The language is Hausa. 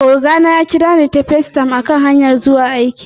Oga na ya kira ni ta FaceTime a kan hanya ta ta zuwa aiki